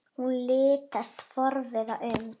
Hún litast forviða um.